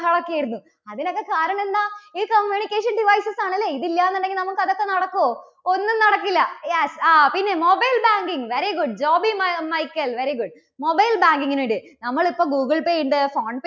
ബഹളവും ഒക്കെ ആയിരുന്നു. അതിനൊക്കെ കാരണം എന്താ? ഈ communication devices ആണ് അല്ലേ? ഇത് ഇല്ല എന്നുണ്ടെങ്കിൽ നമുക്ക് അതൊക്കെ നടക്കുവോ? ഒന്നും നടക്കില്ല yes ആ പിന്നെ mobile banking, very good Jobin Michael very good, mobile banking നുണ്ട് നമ്മളിപ്പോ ഗൂഗിൾ പേ ഉണ്ട phone